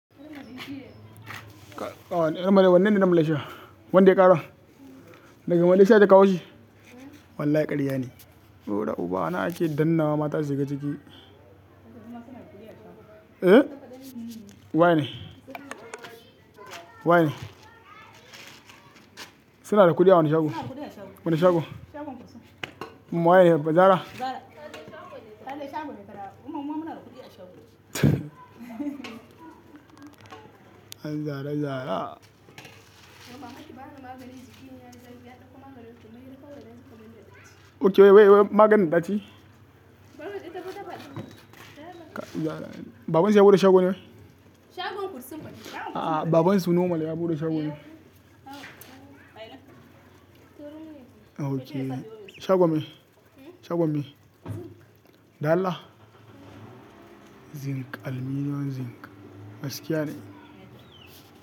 Wanne ne na melaishiya, wanda ya ƙara? Daga Malaysia ake kawo shi? Wallahi karya ne. Da ubana ake danna wa mata su shiga ciki. E? Waye ne? Waye ne? Suna da kuɗi a wani shago. Wane shago? Shagon kusa. Ummari ba Zara? Ba Zara. Kada ya shago ne kaɗai. Kuma muma muna da kuɗi a shagon. Ai Zara Zara. Mama Hati bama maganin jiki, ya dauko maganin kawai naji kaman da ɗaci. Ok wai maganin da ɗaci? Babanki ya buɗe shagon. Babansu ya buɗe shagon ne? Shagon kursun. A'a babansu normal ya buɗe shagon ne? A ina? Ok. Shagon me? Shagon me? Dalla? Zinc aluminum zinc. Gaskiya ne?